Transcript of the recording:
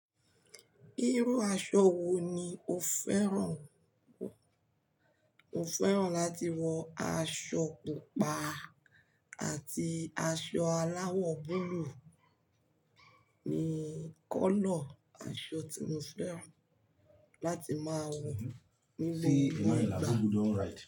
Irú aṣọ wo ni o fẹ́ràn? Mo fẹ́ràn láti wọ aṣọ pupa àti aṣọ aláwọ̀ búluú. Ni kọ́lọ̀ aṣọ tí mo fẹ́ràn láti máa wọ ní gbogbo ìgbà.